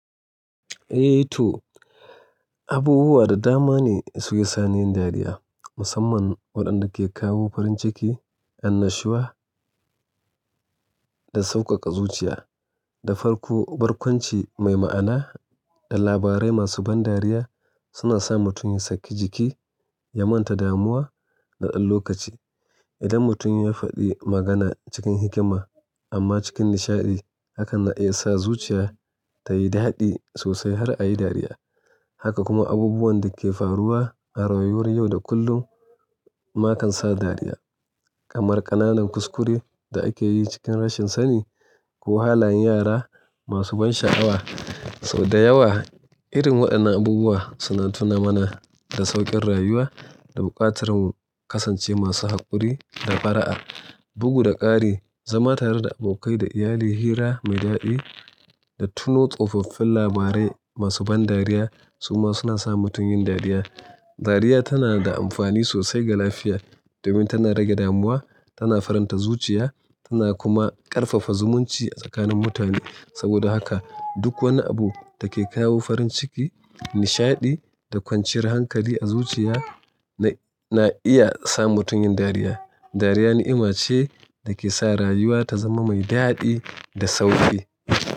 Eh, toh abubuwa da dama ne suke sa ni yin dariya. Musamman waɗanda ke kawo farin ciki, annashuwa da sauƙaƙa zuciya. Da farko, barkwanci mai ma'ana da labarai masu ban dariya suna sa mutum ya sakki jiki, ya manta damuwa na ɗan lokaci. Idan mutum ya faɗi magana cikin hikima amma cikin nishaɗi, hakan na iya sa zuciya ta yi daɗi sosai har a yi dariya. Haka kuma abubuwan da ke faruwa a rayuwar yau da kullum ma kan sa dariya. Kamar ƙananan kuskure da ake yi cikin rashin sani ko halayen yara masu ban sha'awa. Toh da yawa, irin waɗannan abubuwa suna tuna mana da sauƙin rayuwa da buƙatar mu kasance masu haƙuri da fara'a. Bugu da ƙari, zama tare da abokai da iyali, hira mai daɗi da tuno tsofoffin labarai masu ban dariya su ma suna sa mutum yin dariya. Dariya tana da amfani sosai ga lafiya domin tana rage damuwa, tana faranta zuciya tana kuma ƙarfafa zumunci a tsakanin mutane. Saboda haka duk wani abu da ke kawo farin ciki, nishaɗi da kwanciyar hankali a zuciya na iya sa mutum yin dariya. Dariya ni'ima ce da ke sa rayuwa ta zama mai daɗi da sauƙi.